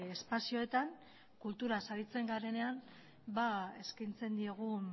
espazioetan kulturaz aritzen garenean eskaintzen diogun